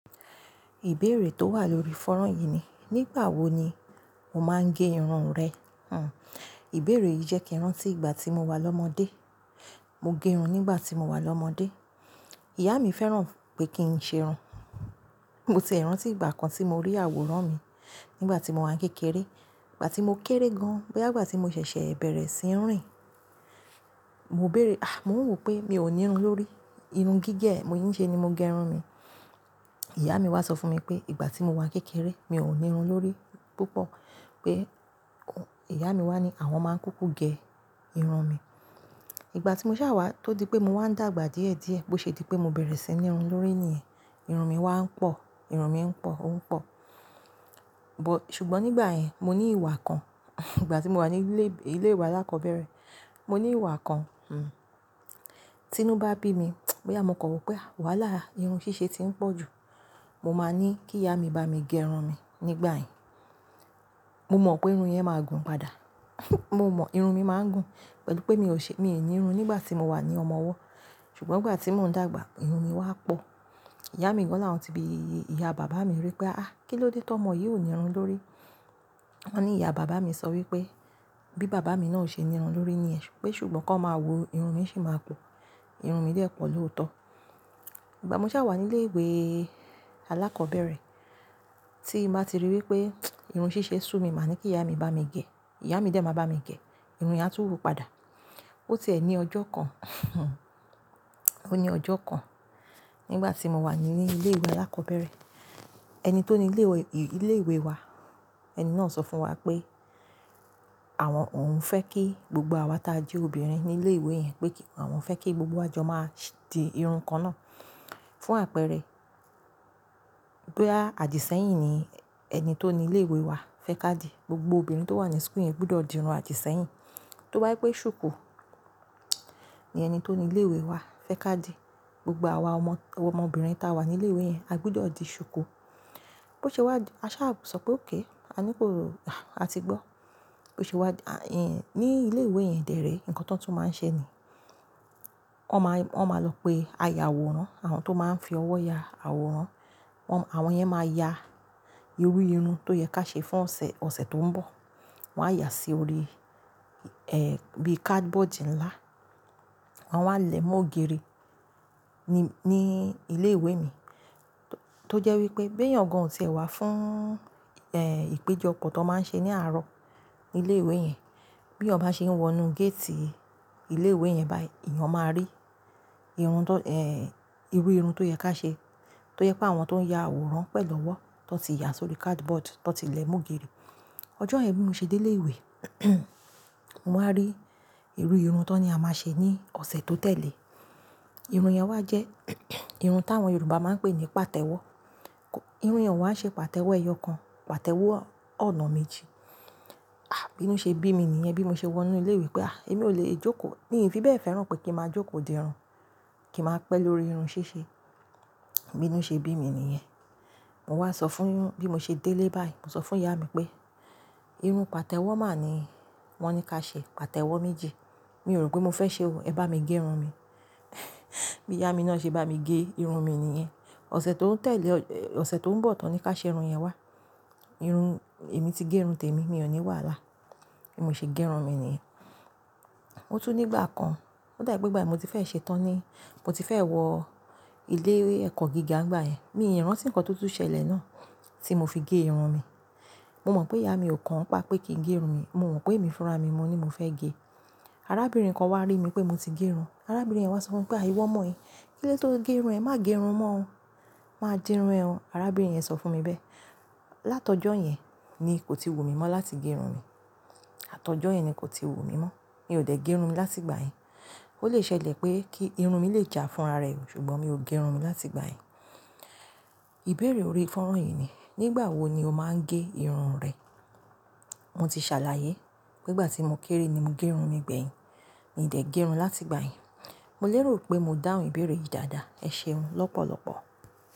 Ìbéèrè tó wà lórí fọ́rán yìí ni, nígbà wo ni o máa ń gẹ irun rẹ? Hhm. Ìbéèrè yìí jẹ́ kí n rán tí ìgbà tí mo wà lọ́mọdé. Mo gẹ irun nígbà tí mo wà lọ́mọdé. Ìyá mi fẹ́ràn pé kí n ṣe ẹran. Mo sì rántí ìgbà kan tí mo rí àwòrán mi nígbà tí mo wà kékeré. Ìgbà tí mo kéré gan-an, bóyá ìgbà tí mo ṣẹ̀ṣẹ̀ bẹ̀rẹ̀ sí ní rìn. Mo béèrè, àh, mo ń rò pé mi ò ní irun lórí. Irun gígẹ̀ mo ń ṣe ni mo gẹ irun mi. Ìyá mi wá sọ fún mi pé, ìgbà tí mo wà kékeré, mi ò ní irun lórí púpọ̀. Pé, ìyá mi wá ní àwọn máa ń kúkú gẹ irun mi. Ìgbà tí mo ṣá wá tó di pé mo wà ń dàgbà díẹ̀ díẹ̀ bó ṣe di pé mo bẹ̀rẹ̀ sí ní irun lórí ni ẹ, irun mi wá ń pọ̀, irun mi ń pọ̀, ó ń pọ̀. Bọ̀-- ṣùgbọ́n nígbà yẹn mo ní ìwà kan. Ìgbà tí mo wà ní ilé, ilé ìwé alákọ̀ọ́bẹ̀rẹ̀, mo ní ìwà kan. Hmm. Tí inú bá bí mi, bóyá mo kọ̀ ro pé wàhálà, irun ṣíṣe ti ń pọ̀ ju, mo máa ní kí ìyá mi bá mi gẹ irun mi nígbà yẹn. Mo mọ̀ pé irun yẹn máa gùn padà. Mo mọ̀, irun mi máa ń gùn pẹ̀lú pé mi ò ṣe, mi ò ní irun nígbà tí mo wà ní ọmọ ọwọ́. Ṣùgbọ́n ìgbà tí mo ń dàgbà, irun mi wá pọ̀. Ìyá mi wọ́n làwọn tíbí ìyá bàbá mi wí pé, "àh, kí ló dé tó ọmọ yìí ò ní irun lórí?" Wọ́n ní ìyá bàbá mi sọ wí pé, bí bàbá mi náà ṣe ní irun lórí ni ẹ́ ṣùgbọ́n kí wọ́n máa wo irun mi ṣì máa pọ̀. Irun mi dẹ́ pọ̀ lóòótọ́. Ìgbà mo ṣá wà ní ilé ìwé alákọ̀ọ́bẹ̀rẹ̀, tí mo bá ti rí i wí pé irun ṣíṣe ṣú mi, màá ní kí ìyá mi bá mi gẹ. Ìyá mi dè máa bá mi gẹ. Irun yẹn á tún wù ú padà. Ó ti ẹ̀ ní ọjọ́ kan. Hun Ó ní ọjọ́ kan. Nígbà tí mo wà ní ilé ìwé alákọ̀ọ́bẹ̀rẹ̀, ẹni tó ni ilé ìwé, ilé ìwé wa, ẹni náà sọ fún wa pé, àwọn òun fẹ́ kí gbogbo àwa ta jẹ́ obìnrin ní ilé ìwé yẹn pé kí àwọn fẹ́ kí gbogbo àjọ máa di irun kan náà fún àpẹẹrẹ, bóyá àjíṣẹ́yìn ni ẹni tó ni ilé ìwé wa fẹ́ ká di, gbogbo obìnrin tó wà ní school yẹn gbodọ̀ di irun àjíṣẹ́yìn. Tó bá wí pé ṣùkú, ni ẹni tó ni ilé ìwé wa fẹ́ ká di, gbogbo àwa ọmọ, ọmọbìnrin ta wà ní ilé ìwé yẹn, a gbúdọ̀ di ṣùkú. Bó ṣe wá, a ṣá sọ pé okay. A ní pé oh, a ti gbọ́. Bó ṣe wá, a, ẹyin ní ilé ìwé yẹn dèérè, nǹkan tó tún máa ń ṣe ni, wọ́n máa, wọ́n máa lọ pé aya àwòrán, àwọn tó máa ń fi ọwọ́ ya àwòrán, wọ́n, àwọn yẹn máa ya irú irun tó yẹ ká ṣe fún ọ̀sẹ̀, ọ̀sẹ̀ tó ń bọ̀. Wọ́n á ya sí orí, eh, bí cardboard ńlá. Wọ́n á lẹ̀ mú ògiri ní, ní ilé ìwé mi. Tó jẹ́ wí pé bí ẹ̀yàn kan ò tíì wá fún, eh, ìpéjọpọ̀ tó máa ń ṣe ní àárọ̀ ní ilé ìwé yẹn, bí ọ̀ bá ṣe ń wọ inú gate ilé ìwé yẹn báyìí, ìyẹn máa rí irun tó, eh, irú irun tó yẹ ká ṣe, tó yẹ pé àwọn tó ń ya àwòrán pẹ̀lú ọwọ́ tó ti ya sórí cardboard tó ti lẹ̀ mú ògiri. Ọjọ́ yen bi mí ṣe dé ilé ìwé, mo máa rí irú irun tó ni a máa ṣe ní ọ̀sẹ̀ tó tẹ̀lé. Irun yẹn wá jẹ́ irun táwọn Yorùbá máa ń pè ní pàtẹ́wọ́. Irun yẹn wà ṣe pàtẹ́wọ́ ẹyọ kan, pàtẹ́wọ́ ọ̀nà méjì. Ah, bínú ṣe bí mi nìyẹn bí mo ṣe wọ inú ilé ìwé pé àh, èmi ò lè jókòó. Nìyẹn fi bẹ́ẹ̀ fẹ́ràn pé kí n máa jókòó di irun, kí n máa pẹ́ lórí irun ṣíṣe. Bínú ṣe bí mi nìyẹn. Mo wá sọ fún, bí mo ṣe délé báyìí, mo sọ fún ìyá mi pé, irun pàtẹ́wọ́ máà ni wọ́n ní ká ṣe, pàtẹ́wọ́ méjì. Mi ò rò pé mo fẹ́ ṣe o. Ẹ bá mi gẹ irun mi. Bí ìyá mi náà ṣe bá mi gẹ irun mi nìyẹn. Ọ̀sẹ̀ tó ń tẹ̀lé, ọ̀sẹ̀ tó ń bọ̀ táwọn ni ká ṣe irun yẹn wá. Irun, èmi ti gẹ irun tèmi, mi ò ní wàhálà. Èmi ò ṣe gẹ irun mi nìyẹn. Ó tú nígbà kan, ó dàbí pé ìgbà mo ti fẹ́ ṣe tán ni. Mo ti fẹ́ wọ ilé ẹ̀kọ́ gíga nígbà yẹn. Mi ò rántí nǹkan tó tún ṣẹlẹ̀ náà tí mo fi gẹ irun mi. Mo mọ̀ pé ìyá mi ò kan ọ́ pa pé kí n gẹ irun mi. Mo mọ̀ pé èmi fúnra mi, mo ní mo fẹ́ gẹ. Arábìnrin kan wá rí mi pé mo ti gẹ irun. Arábìnrin yẹn wá sọ fún mi pé, "àh, ìwọ ọmọ yìí, kí ló dé tó gẹ irun ẹ? Má gẹ irun mọ́ o. Má di irun ẹ o." Arábìnrin yẹn sọ fún mi bẹ́. Látọ́jọ́ yẹn ni kò ti wù mí mọ́ láti gẹ irun mi. Látọ́jọ́ yẹn ni kò ti wù mí mọ́. Mi ò dẹ̀ gẹ irun mi láti ìgbà yẹn. Ó lè ṣẹlẹ̀ pé kí irun mi lè jà fúnra rẹ̀, ṣùgbọ́n mi ò gẹ irun mi láti ìgbà yẹn. Ìbéèrè ori fọ́rán yìí ni, nígbà wo ni o máa ń gẹ irun rẹ? Mo ti ṣàlàyé pé ìgbà tí mo kéré ni mo gẹ irun mi gbẹ̀yìn. Mi ò dẹ̀ gẹ irun láti ìgbà yẹn. Mo lérò pé mo dáhùn ìbéèrè yìí dáadáa. Ẹ ṣe irun lọ́pọ̀lọpọ̀.